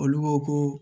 Olu ko ko